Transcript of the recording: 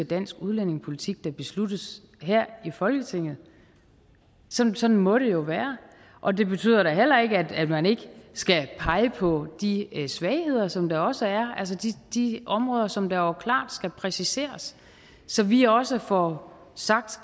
dansk udlændingepolitik da besluttes her i folketinget sådan sådan må det jo være og det betyder da heller ikke at man ikke skal pege på de svagheder som der også er altså de områder som der jo klart skal præciseres så vi også får sagt